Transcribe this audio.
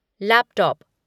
laptop